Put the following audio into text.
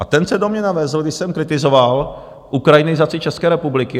A ten se do mě navezl, když jsem kritizoval ukrajinizaci České republiky.